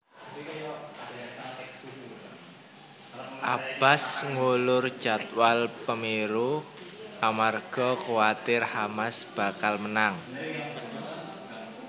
Abbas ngulur jadwal pemilu amarga kuwatir Hamas bakal menang